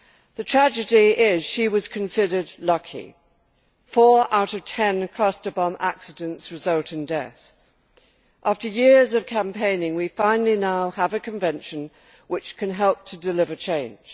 The tragedy is that she was considered lucky four out of ten cluster bomb accidents result in death. After years of campaigning, we finally now have a convention which can help to deliver change.